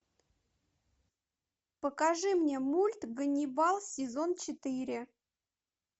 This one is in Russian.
покажи мне мульт ганнибал сезон четыре